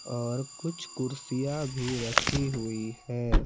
और कुछ कुर्सियां भी रखी हुई है।